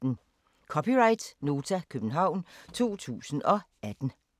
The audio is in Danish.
(c) Nota, København 2018